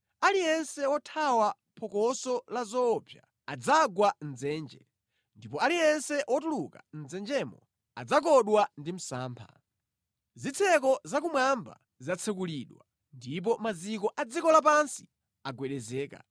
Aliyense wothawa phokoso la zoopsa adzagwa mʼdzenje; ndipo aliyense wotuluka mʼdzenjemo adzakodwa ndi msampha. Zitseko zakumwamba zatsekulidwa, ndipo maziko a dziko lapansi agwedezeka.